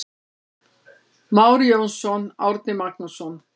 Már Jónsson, Árni Magnússon.